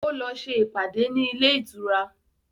Ó lọ ṣe ìpàdé ní ilé ìtura